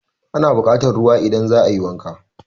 Ana buƙatan ruwa idan za a yi wanka.